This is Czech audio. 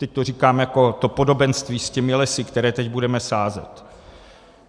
Teď to říkám jako to podobenství s těmi lesy, které teď budeme sázet.